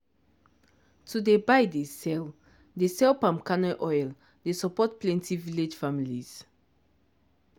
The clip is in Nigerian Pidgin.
to dey buy dey sell dey sell palm kernel oil dey support plenti village families.